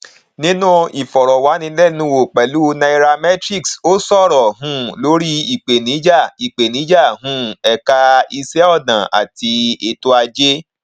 nínú ìfọrọwánilẹnuwò pẹlú nairametrics ó sọrọ um lórí ìpèníjà ìpèníjà um ẹka ìṣẹ ọnà àti ètò ajé